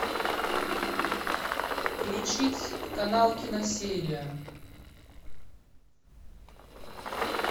включить канал киносерия